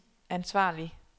ansvarlig